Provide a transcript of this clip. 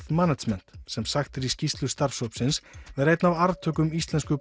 management sem sagt er í skýrslu starfshópsins vera einn af arftökum íslensku